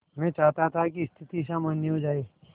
मैं चाहता था कि स्थिति सामान्य हो जाए